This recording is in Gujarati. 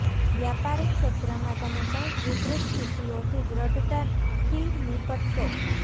વ્યાપારિક ક્ષેત્ર માં તમે કંઇક વિપરીત સ્થિતિઓ થી દ્રઢતા થી નિપટશો